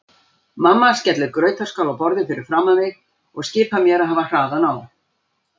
Mamma skellir grautarskál á borðið fyrir framan mig og skipar mér að hafa hraðan á.